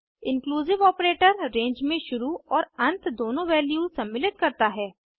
inclusive operator range में शुरू और अंत दोनों वैल्यूज सम्मिलित करता है